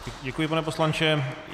Děkuji, pane poslanče.